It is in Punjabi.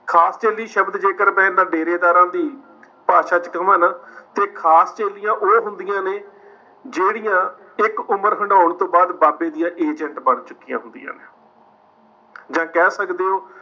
ਖਾਸ ਚੇਲੀ ਸ਼ਬਦ ਜੇਕਰ ਮੈਂ ਡੇਰੇਦਾਰਾਂ ਦੀ ਭਾਸ਼ਾ ਵਿੱਚ ਕਹਾਂ ਨਾ ਤੇ ਖਾਸ ਚੇਲੀਆਂ ਉਹ ਹੁੰਦੀਆਂ ਨੇ ਜਿਹੜੀਆਂ ਇੱਕ ਉਮਰ ਹੰਢਾਉਣ ਤੋਂ ਬਾਅਦ ਬਾਬੇ ਦੀਆਂ agent ਬਣ ਚੁੱਕੀਆਂ ਹੁੰਦੀਆਂ ਨੇ। ਜਾਂ ਕਹਿ ਸਕਦੇ ਓ